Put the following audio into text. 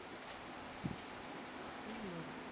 உம் வரும்